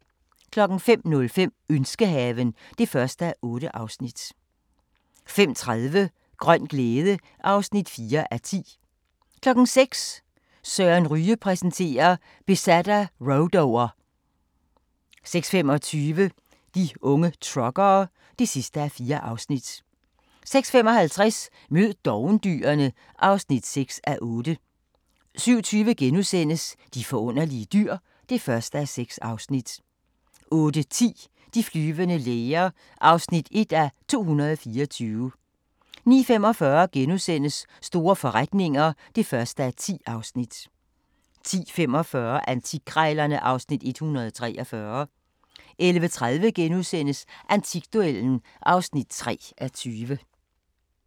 05:05: Ønskehaven (1:8) 05:30: Grøn glæde (4:10) 06:00: Søren Ryge præsenterer: Besat af rhodo'er 06:25: De unge truckere (4:4) 06:55: Mød dovendyrene (6:8) 07:20: De forunderlige dyr (1:6)* 08:10: De flyvende læger (1:224) 09:45: Store forretninger (1:10)* 10:45: Antikkrejlerne (Afs. 143) 11:30: Antikduellen (3:20)*